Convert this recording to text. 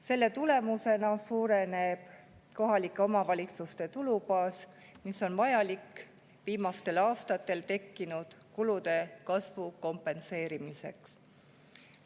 Selle tulemusena suureneb kohalike omavalitsuste tulubaas, mis on vajalik viimastel aastatel tekkinud kulude kasvu kompenseerimiseks.